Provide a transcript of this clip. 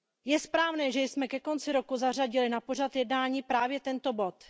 Je správné, že jsme ke konci roku zařadili na pořad jednání právě tento bod.